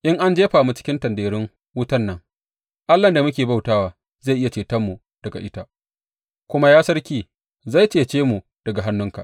In an jefa mu cikin tanderun wutar nan, Allahn da muke bauta wa zai iya cetonmu daga ita, kuma ya sarki, zai cece mu daga hannunka.